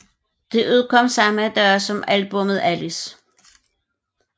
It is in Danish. Det udkom samme dag som albummet Alice